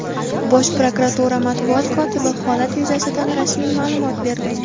Bosh prokuratura Matbuot kotibi holat yuzasidan rasmiy ma’lumot berdi.